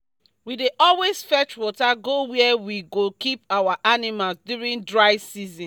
we dey always fetch water go where we dey keep our animals during dry season